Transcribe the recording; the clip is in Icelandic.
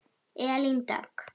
Elín Dögg.